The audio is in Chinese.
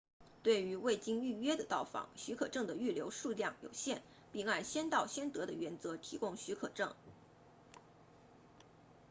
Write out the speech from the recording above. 对于未经预约的到访许可证的预留数量有限并按先到先得的原则提供许可证